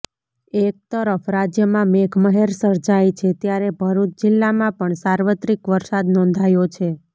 એક તરફ રાજ્યમાં મેધમહેર સર્જાઇ છે ત્યારે ભરૂચ જિલ્લામાં પણ સાર્વત્રિક વરસાદ નોંધાયો છે